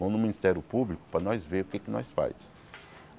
Vamos no Ministério Público para nós ver o que é que nós faz.